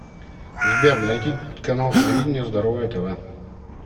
сбер найти канал телевидения здоровое тв